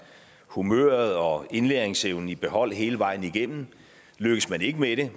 humøret og indlæringsevnen i behold hele vejen igennem lykkes man ikke med det